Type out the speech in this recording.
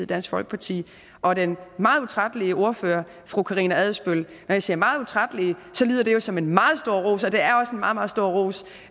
dansk folkeparti og den meget utrættelige ordfører fru karina adsbøl når jeg siger meget utrættelig lyder det jo som en meget stor ros og det er også en meget meget stor ros